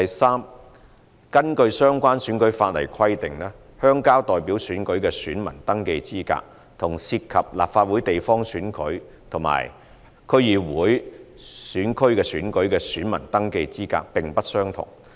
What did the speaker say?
三根據相關選舉法例規定，鄉郊代表選舉的選民登記資格，與涉及立法會地方選區及區議會選區選舉的選民登記資格並不相同。